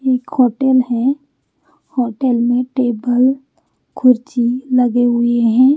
ये एक होटल है होटल में टेबल कुरसी लगे हुए है।